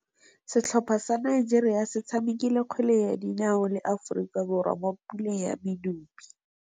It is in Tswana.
Setlhopha sa Nigeria se tshamekile kgwele ya dinaô le Aforika Borwa mo puleng ya medupe.